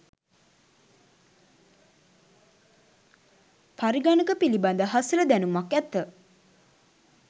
පරිගණක පිළිබඳ හසල දැනුමක් ඇත.